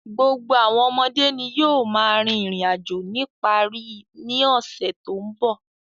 Gbogbo àwọn ọmọdé ni yóò máa rin ìrìn-àjò nípa rí i ní ọ̀sẹ̀ tó ń bọ̀.